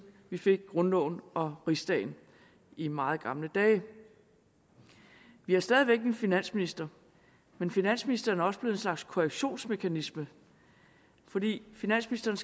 vi fik grundloven og rigsdagen i meget gamle dage vi har stadig væk en finansminister men finansministeren er også blevet en slags korrektionsmekanisme fordi finansministeren